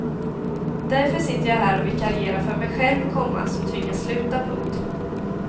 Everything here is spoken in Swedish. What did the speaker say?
Därför sitter jag här och vikarierar för mig själv, komma som tvingats sluta. punkt